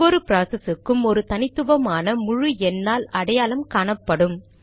ஒவ்வொரு ப்ராசஸ் க்கும் ஒரு தனித்துவமான முழு எண்ணால் அடையாளம் காணப்படும்